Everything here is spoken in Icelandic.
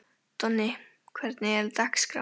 Donni, hvernig er dagskráin?